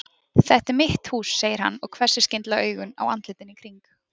Þetta er mitt hús segir hann og hvessir skyndilega augun á andlitin í kring.